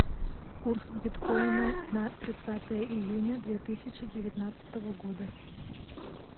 курс биткоина на тридцатое июня две тысячи девятнадцатого года